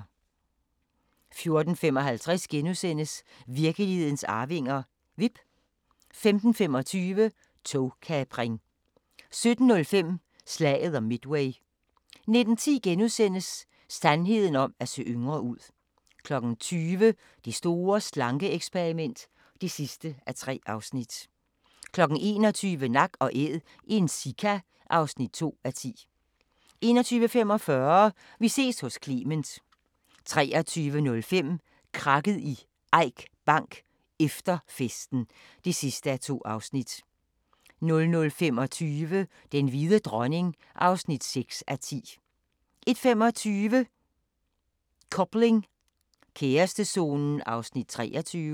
14:55: Virkelighedens arvinger: Vipp * 15:25: Togkapring 17:05: Slaget om Midway 19:10: Sandheden om at se yngre ud * 20:00: Det store slanke-eksperiment (3:3) 21:00: Nak & Æd – en sika (2:10) 21:45: Vi ses hos Clement 23:05: Krakket i Eik Bank: Efter festen (2:2) 00:25: Den hvide dronning (6:10) 01:25: Coupling – kærestezonen (23:28)